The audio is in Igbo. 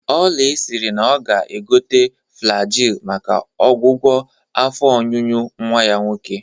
Oly siri na ọ ga-egote Flajil maka ọgwụgwọ afọ ọnyụnyụ nwa ya nwoke